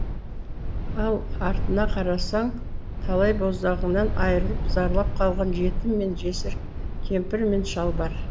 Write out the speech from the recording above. ал артына қарасаң талай боздағынан айрылып зарлап қалған жетім мен жесір кемпір мен шал бар